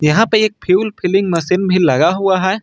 यहां पे एक फ्यूल फिलिंग मशीन भी लगा हुआ है।